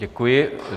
Děkuji.